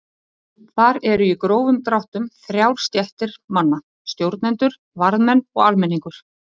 Þar eru í grófum dráttum þrjár stéttir manna: Stjórnendur, varðmenn og almenningur.